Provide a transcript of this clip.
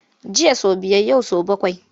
Jiya sau biyar yau sau bakwai.